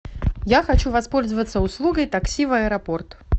я хочу воспользоваться услугой такси в аэропорт